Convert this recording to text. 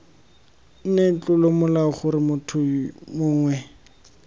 nne tlolomolao gore motho mongwe